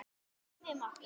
Æfum okkur.